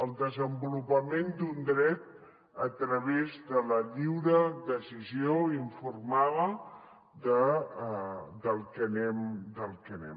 el desenvolupament d’un dret a través de la lliure decisió informada del que anem a fer